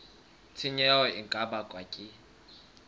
tshenyo e ka bakwang ke